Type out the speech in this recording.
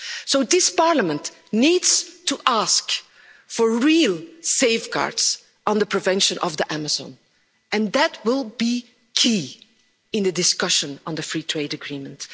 So this Parliament needs to ask for real safeguards on the preservation of the Amazon and that will be key in the discussion on the free trade agreement.